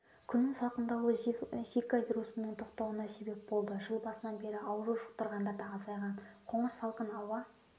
күннің салқындауы зика вирусының тоқтауына сеп болды жыл басынан бері ауру жұқтырғандар да азайған қоңырсалқын ауа